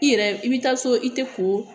I yɛrɛ i bi taa so i te ko